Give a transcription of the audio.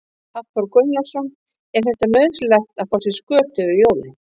Hafþór Gunnarsson: Er þetta nauðsynlegt að fá sér skötu fyrir jólin?